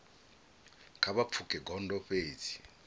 kha vha pfuke gondo fhedzi